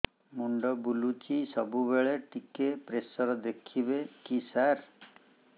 ମୁଣ୍ଡ ବୁଲୁଚି ସବୁବେଳେ ଟିକେ ପ୍ରେସର ଦେଖିବେ କି ସାର